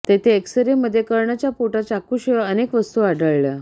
तेथे एक्सरेमध्ये कर्णच्या पोटात चाकूशिवाय अनेक वस्तू आढळल्या